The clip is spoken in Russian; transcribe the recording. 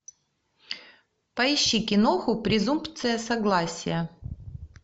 поищи киноху презумпция согласия